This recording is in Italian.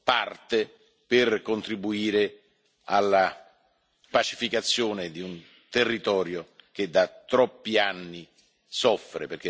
parte per contribuire alla pacificazione di un territorio che da troppi anni soffre.